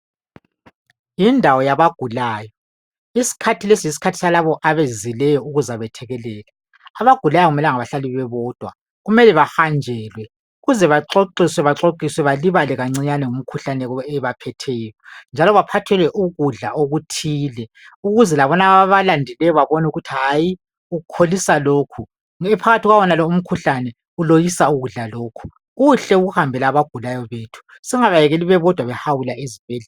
Yindawo yabagulayo, isikhathi lesi yisikhathi salabo abezileyo ukuzakwethekelela. Abagulayo akumelanga bahlale bebodwa kumele bahanjelwe ukuze baxoxiswe balibale kancinyane kumikhuhlane ebaphetheyo njalo baphathelwe ukudla okuthile ukuze labonaba ababalandileyo babone ukuthi hayi ukholisa lokhu, phakathi kwawonalo umkhuhlane uloyisa ukudla lokhu. Kuhle ukuhambela abagulayo bethu singabekeli bebodwa behawula ezibhedlela.